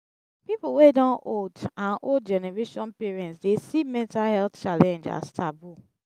pipo wey don old and old generation parents dey see mental health challenge as taboo